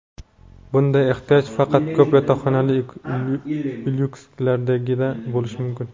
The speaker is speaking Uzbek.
Bunday ehtiyoj faqat ko‘p yotoqxonali lyukslardagina bo‘lishi mumkin.